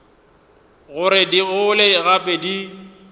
gore di gole gape di